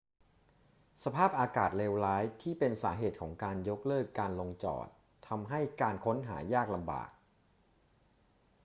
สภาพอากาศเลวร้ายที่เป็นสาเหตุของการยกเลิกการลงจอดทำให้การค้นหายากลำบาก